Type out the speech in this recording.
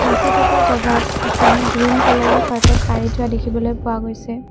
নাচি থকা জাগাত এখন গ্ৰীণ কালাৰৰ কাৰ্পেট পাৰি থোৱা দেখিবলৈ পোৱা গৈছে।